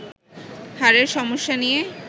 হাড়ের সমস্যা নিয়ে